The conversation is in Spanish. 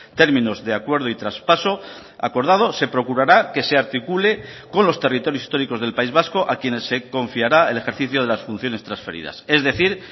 términos de acuerdo y traspaso acordado se procurara que se articule con los territorios históricos del país vasco a quienes se confiará el ejercicio de las funciones transferidas es decir